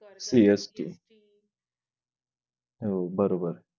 CST हो बरोबर